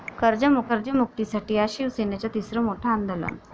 कर्जमुक्तीसाठी आज शिवसेनेचं तिसरं मोठं आंदोलन